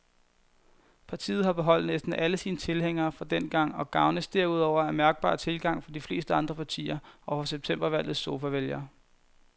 Partiet har beholdt næsten alle sine tilhængere fra dengang og gavnes derudover af mærkbar tilgang fra de fleste andre partier og fra septembervalgets sofavælgere.